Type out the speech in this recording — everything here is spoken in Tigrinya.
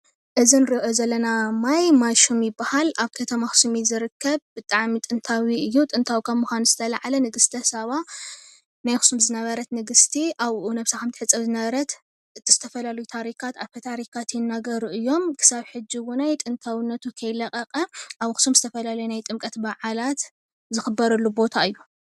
እዚ እንሪኦ ዘለና ማይ ማይሹም ይባሃል። ኣብ ከተማ ኣክሱም እዩ ዝርከብ። ብጣዕሚ ጥንታዊ እዩ። ጥንታዊ ካብ ምኳኑ ዝተለዓለ ንግስተ ሳባ ናይ ኣክሱም ዝነበረት ንግስቲ ኣብኡ ነብሳ ከም እትሕፀብ ዝነበረት ዝተፈላለዩ ታሪካት ኣፈ ታሪካት ይናገሩ እዮም። ክሳብ ሕዚ እውን ጥንታውነቱ ከይ ለቀቀ ኣብ ኣክሱም ዝተፈላለዩ ናይ ጥምቀት በዓላት ዝክበረሉ ቦታ እዩ፡፡